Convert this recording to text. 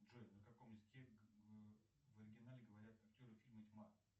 джой на каком языке в оригинале говорят актеры фильма тьма